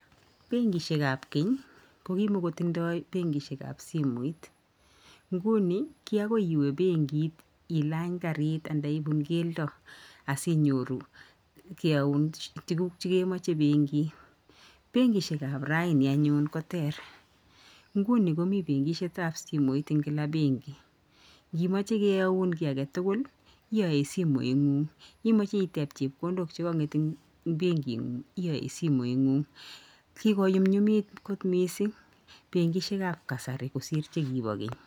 Benkishekab keny, kokimokotindoi benkishekab simoit. Nguni, ki agoi iwe benkit ilany garit ana ibun keldo asinyoru keyoun tuguk chekemoche benkit. Benkishekab raini anyun koter. Nguni komi benkishekab simoit en kila benki. Ngimoche keyaun kiy age tugul, iyoe en simoitng'ung'. Imoche itep chepkondok che kong'et en benking'ung' iyoe en simoitng'ung'. Ki ko nyumnyumit kot missing, benkishekab kasari kosir chekibo keny.